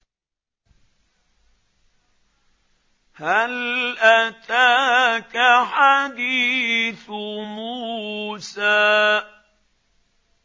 هَلْ أَتَاكَ حَدِيثُ مُوسَىٰ